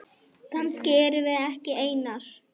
Kannski erum við ekki einar.